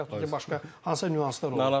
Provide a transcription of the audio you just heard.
Və yaxud da ki, başqa hansısa nüanslar olur.